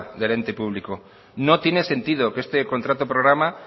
del ente público no tiene sentido que este contrato programa